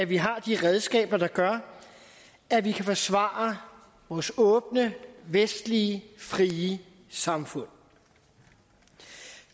vi har de redskaber der gør at vi kan forsvare vores åbne vestlige frie samfund